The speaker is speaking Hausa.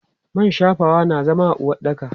Man shafawa na zama a uwaɗɗaka.